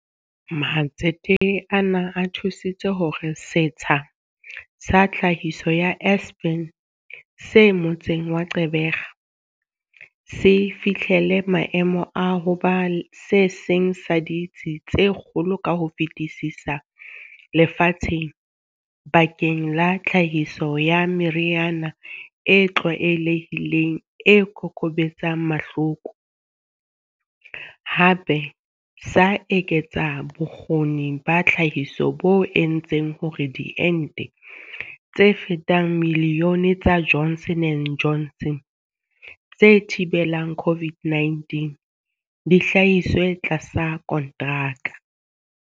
Matsete ana a thu sitse hore setsha sa tlhahiso sa Aspen se motseng wa Gqeberha se fihlele maemo a ho ba se seng sa ditsi tse kgolo ka ho fetisisa lefatsheng bakeng la tlhahiso ya meriana e tlwaelehileng e kokobetsang mahloko, hape sa eketsa bo kgoni ba tlhahiso bo entseng hore diente tse fetang milione tsa Johnson and Johnson tse thi belang COVID-19 di hlahiswe tlasa kontraka.